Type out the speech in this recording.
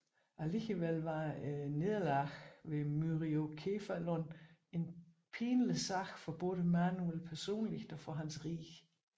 Alligevel var nederlaget ved Myriokephalon en pinlig sag for både Manuel personligt og for hans rige